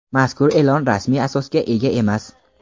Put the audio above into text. Mazkur e’lon rasmiy asosga ega emas.